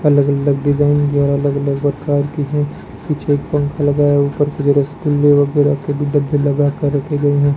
अलग अलग डिजाइन द्वारा अलग अलग प्रकार की है पीछे पंखा लगाए ऊपर की तरफ रसगुल्ले लगाकर रखे गए हैं।